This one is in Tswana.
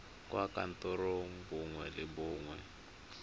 kwa kantorong nngwe le nngwe